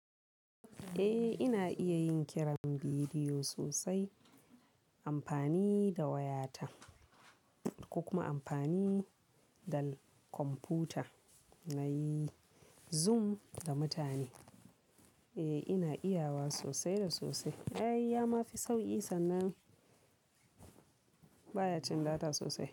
Eh ina iya yin kiran bidiyo sosai amfani da wayata ko kuma amfani da kwamfuta nayi Zoom da mutane. E ina iya wa sosai da sosai. Ai ya ma fi sauƙi sannan baya cin data sosai.